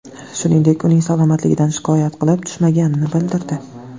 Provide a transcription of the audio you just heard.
Shuningdek, uning salomatligidan shikoyat kelib tushmaganini bildirdi.